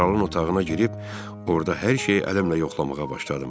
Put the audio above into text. Kralın otağına girib orda hər şeyi ələmlə yoxlamağa başladım.